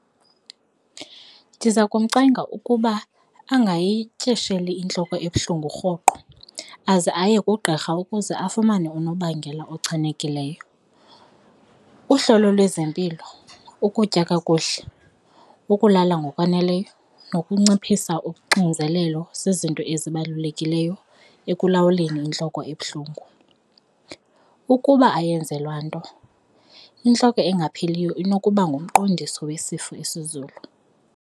Ndiza kumcenga ukuba angayityesheli intloko ebuhlungu rhoqo aze aye kugqirha ukuze afumane unobangela ochanekileyo. Uhlolo lwezempilo, ukutya kakuhle ukulala ngokwaneleyo nokunciphisa uxinzelelo zizinto ezibalulekileyo ekulawuleni intloko ebuhlungu, ukuba ayenzelwa nto intloko engapheliyo inokuba ngumqondiso wesifo esizulu.